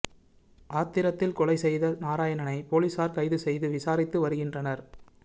ஆத்திரத்தில் கொலை செய்த நாராயணனை போலீசார் கைது செய்து விசாரித்து வருகின்றனர்